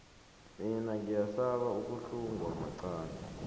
mina ngiyasaba ukuhlungwa maqangi